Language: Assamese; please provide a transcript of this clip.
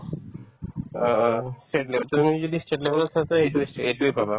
অ অ state level তো তুমি যদি state level ত থাকায়ে এইটোয়ে এইটোয়ে পাবা